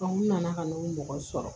n nana ka na n'o mɔgɔ sɔrɔ